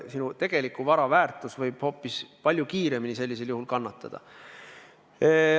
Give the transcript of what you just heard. Sinu vara väärtus võib sel juhul hoopis palju rohkem kannatada.